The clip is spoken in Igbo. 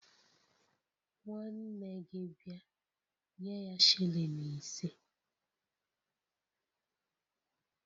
Nwanne gi bia, nye ya shilling ise